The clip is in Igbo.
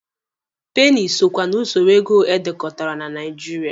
Peeni so kwa na usoro ego edekọtara na Nigeria.